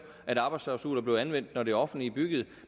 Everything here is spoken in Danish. at arbejdsklausuler blev anvendt når det offentlige byggede